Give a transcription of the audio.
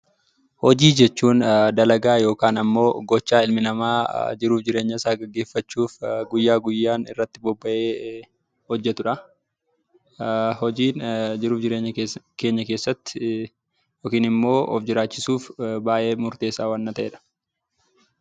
Hojii jechuun dalagaa yookaan gocha ilmi namaa jiruu fi jireenya isaa gaggeeffachuuf guyyaa guyyaan irratti bobba'ee hojjetudha. Hojiin jiruu fi jireenya keessatti yookiin immoo of jiraachisuuf kan baayyee murteessaa waan ta'edha.